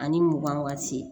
Ani mugan waati